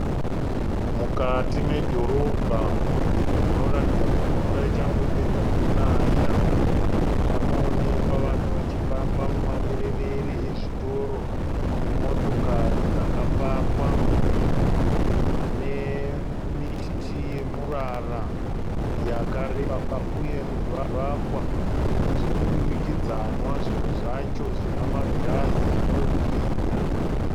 Mukati medhorobha munoratidza kuti mvura ichangopedza kunaya. Panoonekwa vanhu vachifamba mumaberewere ezvitoro nemotokari dzakapakwa nemiti yemurara yakareba uye zvivakwa zvemudurikidzwana zvimwe zvacho zvina magirazi anohwinya.